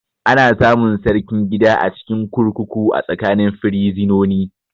Ana samun Sarkin gida a cikin kurkuku a tsakanin firizinoni